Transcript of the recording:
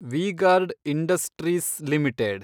V-Guard industries limited